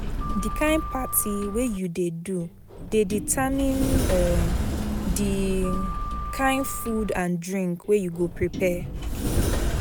The kind parti wey you de do de determine um di kind food and drink wey you go prepare